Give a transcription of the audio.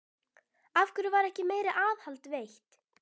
Af hverju var ekki meira aðhald veitt?